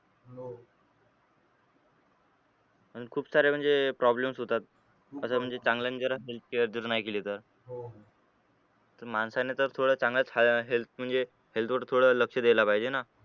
अन खूप सारे म्हणजे problem होतात असं म्हणजे चांगल्याने जरा healthcare जर नाही केली तर . तर माणसाने तर थोड्या चांगल्या health म्हणजे health कडे थोडं थोडं लक्ष दिलं पाहिजे ना